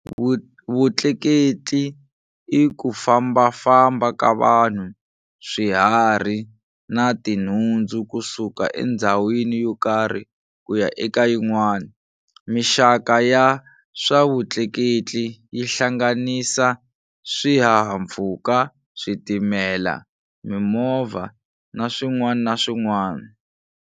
Vutleketli i kufambafamba ka vanhu, swiharhi na tinhundzu kusuka endzhawini yokarhi kuya eka yin'wana. Mixaka ya swavutleketli yihlanganisa, swihahampfhuka, switimela, mimovha naswin'wana na swin'wana.